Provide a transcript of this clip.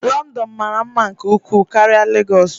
London mara mma nke ukwuu karịa Lagos.